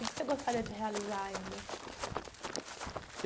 O que que você gostaria de realizar ainda?